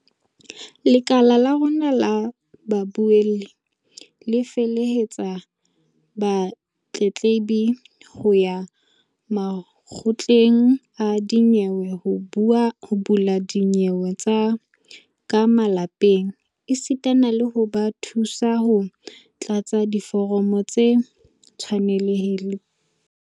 "Lekala la rona la babuelli le felehetsa batletlebi ho ya makgotleng a dinyewe ho bula dinyewe tsa ka malapeng esita le ho ba thusa ho tlatsa diforomo tse tshwanelehang."